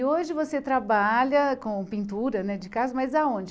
E hoje você trabalha com pintura né de casa, mas aonde?